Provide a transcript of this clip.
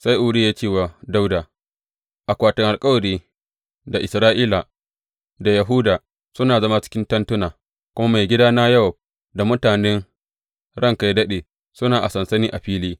Sai Uriya ya ce wa Dawuda, Akwatin Alkawari, da Isra’ila, da Yahuda suna zama cikin tentuna, kuma maigidana Yowab da mutanen ranka yă daɗe suna a sansani a fili.